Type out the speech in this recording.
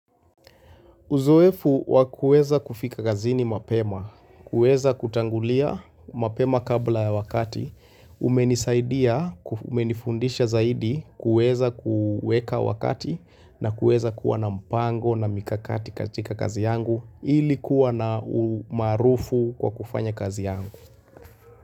Uzoefu wakueza kufika gazini mapema, kueza kutangulia mapema kabla ya wakati, umenisaidia, umenifundisha zaidi kueza kuweka wakati na kueza kuwa na mpango na mikakati katika kazi yangu ilikuwa na umarufu kwa kufanya kazi yangu.